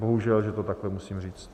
Bohužel, že to takto musím říct.